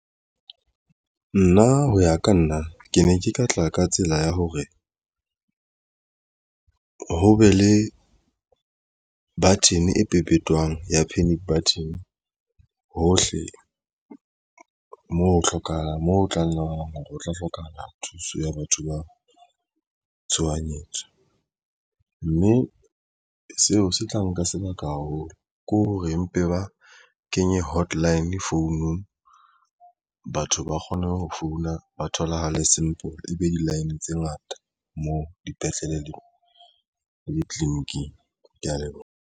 Nna ho ya ka nna ke ne ke ka tla ka tsela ya hore ho be le button e pepetwang ya panic button hohle moo ho hlokahalang moo o tlang ho tla hlokahala thuso ya batho ba tshohanyetso mme seo se tla nka sebaka haholo ke hore mpe ba kenye hotline founung batho ba kgone ho founa ba tholahale simple e be di-line tse ngata moo dipetlele le ditliliniking. Ke ya leboha.